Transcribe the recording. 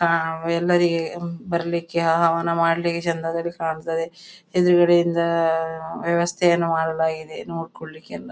ಆ ಎಲ್ಲರಿಗೆ ಬರ್ಲಿಕ್ಕೆ ಹವನ ಮಾಡ್ಳಿಕ್ಕೆ ಚಂದದಲ್ಲಿ ಕಾಣ್ತದೆ ಎದುರುಗಡೆಯಿಂದ ವ್ಯವಸ್ಥೆಯನ್ನು ಮಾಡಲಾಗಿದೆ ನೋಡ್ಕೊಳ್ಳಿಕ್ಕೆ ಎಲ್ಲ.